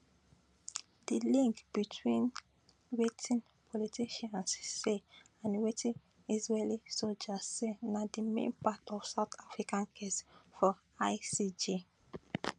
di link between wetin politicians say and wetin israeli soldiers say na di main part of south africa case for icj